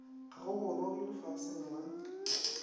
ga go goroge lefaseng la